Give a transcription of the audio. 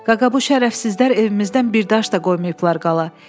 Qaqa, bu şərəfsizlər evimizdən bir daş da qoymayıblar qala.